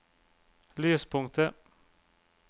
lyspunktet